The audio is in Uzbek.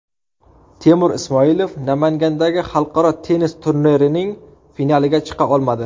Temur Ismoilov Namangandagi xalqaro tennis turnirining finaliga chiqa olmadi.